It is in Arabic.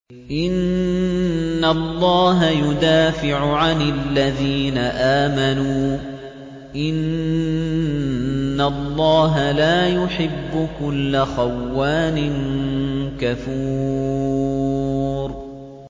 ۞ إِنَّ اللَّهَ يُدَافِعُ عَنِ الَّذِينَ آمَنُوا ۗ إِنَّ اللَّهَ لَا يُحِبُّ كُلَّ خَوَّانٍ كَفُورٍ